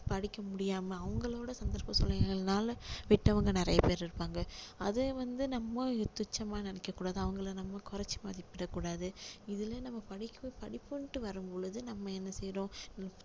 படிக்க முடியாம அவங்களோட சந்தர்ப்ப சூழ்நிலைகள்னால விட்டவங்க நிறைய பேரு இருப்பாங்க அதை வந்து நம்ம துச்சமா நினைக்க கூடாது அவங்களை நம்ம குறைச்சி மதிப்பிட கூடாது இதுல நம்ம படிப்பு~ படிப்புன்னுட்டு வரும் பொழுது நம்ம என்ன செய்யுறோம்